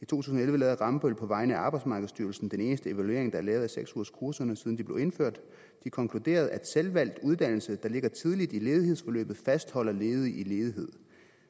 tusind og elleve lavede rambøll på vegne af arbejdsmarkedsstyrelsen den eneste evaluering der er lavet af seks ugerskurserne siden de blev indført de konkluderede at selvvalgt uddannelse der ligger tidligt i ledighedsforløbet fastholder ledige i ledighed